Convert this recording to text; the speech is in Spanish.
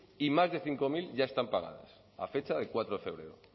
y más de cinco mil ya están pagadas a fecha de cuatro de febrero